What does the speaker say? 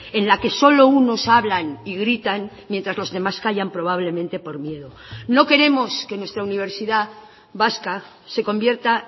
en la que solo unos hablan y gritan mientras los demás callan probablemente por miedo no queremos que nuestra universidad vasca se convierta